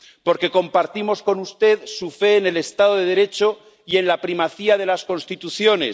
Porque compartimos con usted su fe en el Estado de Derecho y en la primacía de las constituciones.